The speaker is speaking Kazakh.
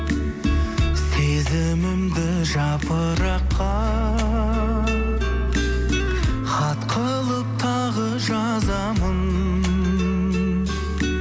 сезімімді жапыраққа хат қылып тағы жазамын